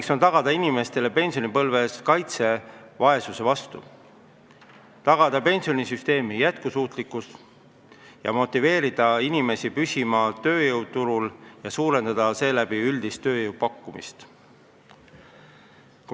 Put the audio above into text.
Eesmärk on anda inimestele pensionipõlves kaitset vaesuse vastu, tagada pensionisüsteemi jätkusuutlikkus ja motiveerida inimesi püsima tööjõuturul, suurendades seeläbi üldist tööjõu pakkumist.